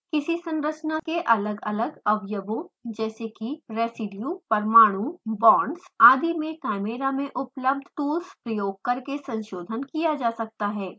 किसी संरचना के अलग अलग अवयवों जैसे कि: रेज़िडियु परमाणु बॉन्ड्स आदि में chimera में उपलब्ध टूल्स प्रयोग करके संशोधन किया जा सकता है